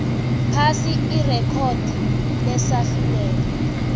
phasi irekhodi lesahlulelo